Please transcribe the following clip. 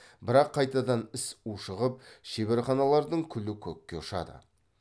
бірақ қайтадан іс ушығып шеберханалардың күлі көкке ұшады